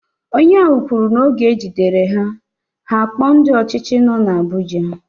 Onye ahu kwuru na oge ejidere ha, ha akpo ndi ochichi no na Abuja.